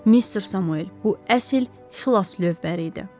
Mister Samuel, bu əsl xilas lövbəri idi.